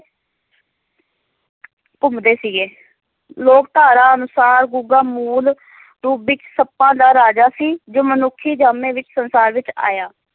ਘੁੰਮਦੇ ਸੀਗੇ, ਲੋਕ-ਧਾਰਾ ਅਨੁਸਾਰ, ਗੁੱਗਾ ਮੂਲ ਰੂਪ ਵਿੱਚ ਸੱਪਾਂ ਦਾ ਰਾਜਾ ਸੀ, ਜੋ ਮਨੁੱਖੀ ਜਾਮੇ ਵਿੱਚ ਸੰਸਾਰ ਵਿੱਚ ਆਇਆ।